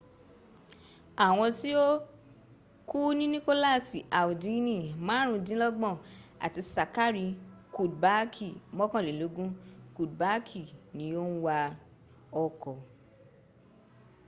àwọn tí ó kú ní nikolasi aldini márùndínlọ́gbọ̀n àti sakari kudbaaki mọ́kànlélógún kudbaaki ni ó ń wa ọkọ̀